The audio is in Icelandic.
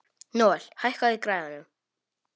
Nóel, hækkaðu í græjunum.